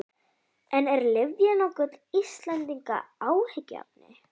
En er lyfjanotkun Íslendinga áhyggjuefni?